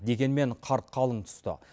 дегенмен қар қалың түсті